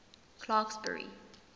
clarksburry